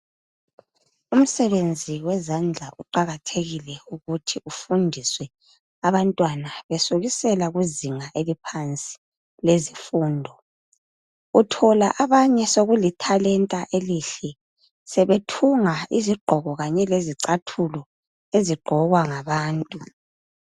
Umsebenzi wezandla uqakathekile ukuthi ufundiswe abantwana besukisela kuzinga eliphansi lezifundo. Uthola abanye sokulithalenta elihle sebethunga izigqoko kanye lezicathulo ezigqokwa ngabantu